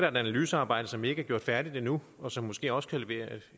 analysearbejde som ikke er gjort færdigt endnu og som måske også kan levere